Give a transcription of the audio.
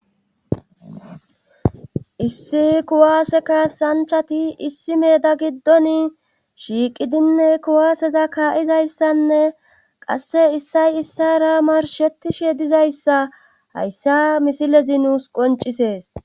issi kuwaase kasanchati issi meda giddoni shiiqidinne kuwaaseza kaa7izayssanne qasse issay issara marshetishe dizayssa hayssa misilezi nuus qoncisees